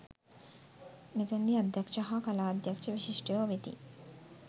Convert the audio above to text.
මෙතැනදී අධ්‍යක්ෂ හා කලා අධ්‍යක්ෂ විශිෂ්ටයෝ වෙති.